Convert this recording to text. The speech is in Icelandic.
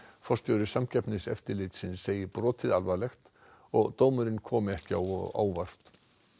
forstjóri Samkeppniseftirlitsins segir brotið alvarlegt og dómurinn komi ekki á óvart